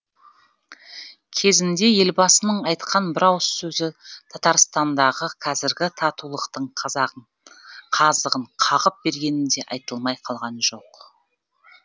кезінде елбасының айтқан бір ауыз сөзі татарстандағы қазіргі татулықтың қазығын қағып бергені де айтылмай қалған жоқ